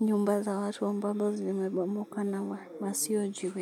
nyumba za watu ambao zimebomoka na wasiojiweza.